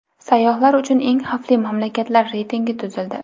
Sayyohlar uchun eng xavfli mamlakatlar reytingi tuzildi.